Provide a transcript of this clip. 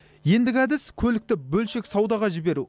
ендігі әдіс көлікті бөлшек саудаға жіберу